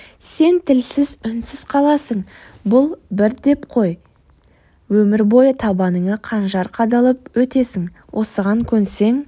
сен тілсіз үнсіз қаласың бұл бір деп қой өмір бойы табаныңа қанжар қадалып өтесің осыған көнсең